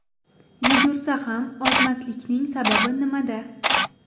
Yugursa ham ozmaslikning sababi nimada?.